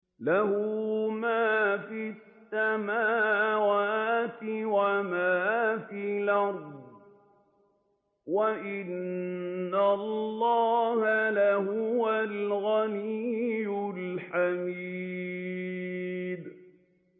لَّهُ مَا فِي السَّمَاوَاتِ وَمَا فِي الْأَرْضِ ۗ وَإِنَّ اللَّهَ لَهُوَ الْغَنِيُّ الْحَمِيدُ